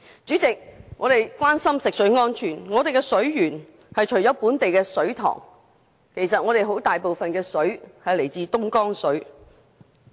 主席，我們關心食水安全，香港的水源除來自本地水塘外，其實有很大部分是來自東江水。